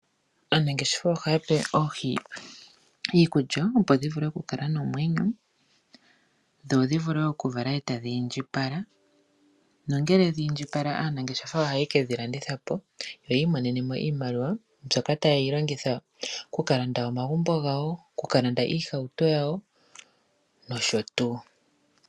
Aanangeshefa ohaya pe oohi iikulya, opo dhi vule okukala nomwenyo dho dhi vule okuvala e tadhi indjipala nongele dhi indjipala aanangeshefa ohaye ke dhi landitha po yo yi imonene mo iimaliwa mbyoka taya longitha okulanda omagumbo gawo, oku ka landa iihauto yawo nosho tuu.